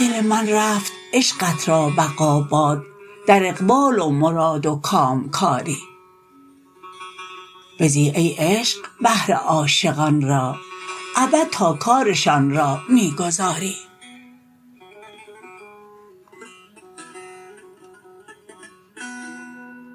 دل من رفت عشقت را بقا باد در اقبال و مراد و کامکاری بزی ای عشق بهر عاشقان را ابد تا کارشان را می گذاری